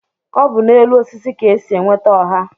Ọ bu n'elu osisi ka-esi enweta oha